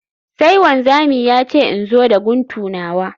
Sai wanzami ya ce in zo da guntu nawa